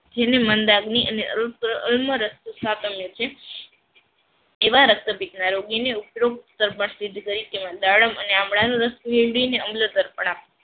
જેની મંદાગ્નિ અને એવા રક્તપિતના રોગીને ઉપરોક્ત તર્પણ સ્તિથિ તરિકે દાડમ અને આંદાનો રસ મેડવીને અમ્લતઅર્પણ આપો